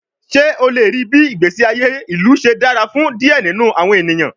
Ṣe o le rii bii igbesi aye ilu ṣe dara fun diẹ ninu awọn eniyan?